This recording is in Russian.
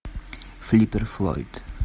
флиппер флойд